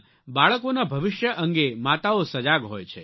બાળકોના ભવિષ્ય અંગે માતાઓ સજાગ હોય છે